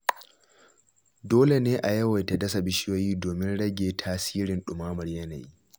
Dole ne a yawaita dasa bishiyoyi domin rage tasirin ɗumamar yanayi.